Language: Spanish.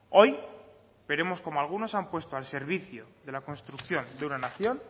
hoy veremos cómo algunos han puesto al servicio de la construcción de una nación